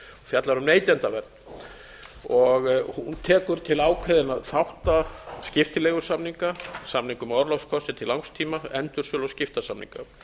og fjallar um neytendavernd hún tekur til ákveðinna þátta skiptileigusamninga samninga um orlofskosti til langs tíma endursölu og skiptasamninga